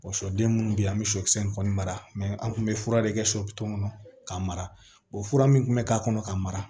sɔden munnu be yen an be sɔkisɛ in kɔni mara an kun bɛ fura de kɛ sɔ bitɔn kɔnɔ k'a mara fura min kun be k'a kɔnɔ ka mara